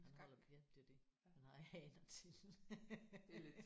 Han holder væk det er jo det man har haner til